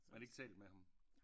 Men ikke talt med ham